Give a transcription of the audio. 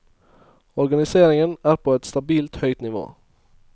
Organiseringen er på et stabilt høgt nivå.